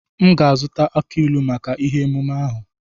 M ga azụta aki ilu maka ihe emume ahu.